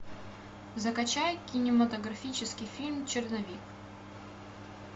закачай кинематографический фильм черновик